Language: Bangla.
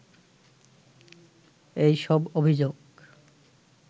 এই সব অভিযোগ